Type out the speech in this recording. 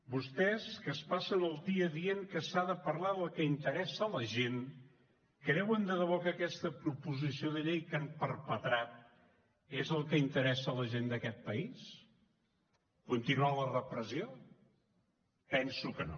vostès que es passen el dia dient que s’ha de parlar del que interessa la gent creuen de debò que aquesta proposició de llei que han perpetrat és el que interessa la gent d’aquest país continuar la repressió penso que no